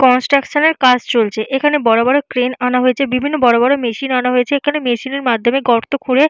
construction এর কাজ চলছে এখানে বড় বড় ক্রেন আনা হয়েছে বিভিন্ন বড় বড় মেশিন আনা হয়েছে এখানে মেশিনের মাধ্যমে গর্ত খুঁড়ে--